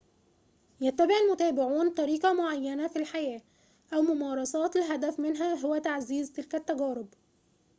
يتبع المتابعون طريقة معينة في الحياة أو ممارسات الهدف منها هو تعزيز تلك التجارب